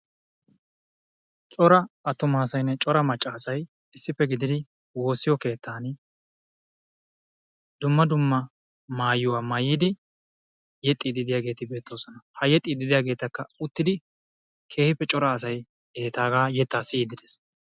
Cora attuma asaynne macca asay issippe gididi woossiyo keettan dumma dumma maayuwa. maayidi yexxiiddi de'iyageeti beettoosona. Ha yexxiiddi de'iyageetakka uttidi keehippe cora asay uttidi etaagaa yettaa siyiiddi dees.